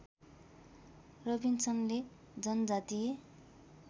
रबिन्सनले जनजातीय